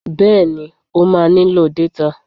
Bẹ́ẹ̀ni, o máa nílò détà